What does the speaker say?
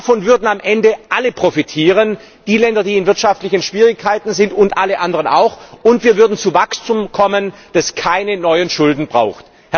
Davon würden am Ende alle profitieren die Länder, die in wirtschaftlichen Schwierigkeiten sind, und alle anderen auch, und wir würden zu Wachstum kommen, das keine neuen Schulden braucht.